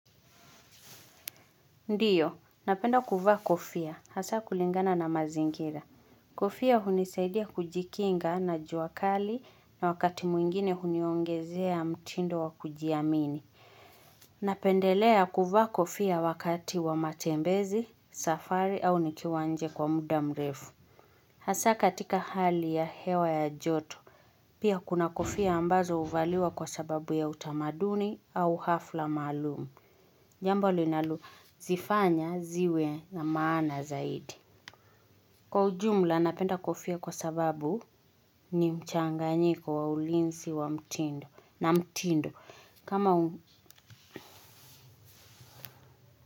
Ndiyo, napenda kuvaa kofia, hasaa kulingana na mazingira. Kofia hunisaidia kujikinga na jua kali na wakati mwingine huniongezea mtindo wa kujiamini. Napendelea kuvaa kofia wakati wa matembezi, safari au nikiwa nje kwa muda mrefu. Hasa katika hali ya hewa ya joto. Pia kuna kofia ambazo huvaliwa kwa sababu ya utamaduni au hafla maalumu. Jambo linalozifanya ziwe na maana zaidi. Kwa ujumla napenda kofia kwa sababu ni mchanganyiko wa ulinzi wa mtindo na mtindo. Kama.